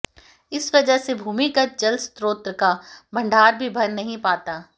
इस वजह से भूमिगत जल स्रोत का भण्डार भी भर नहीं पाता